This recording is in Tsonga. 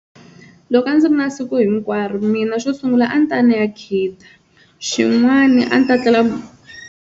Loko a ndzi ri na siku hinkwaro mina xo sungula a ni ta ya ni ya khida xin'wana a ni ta tlela.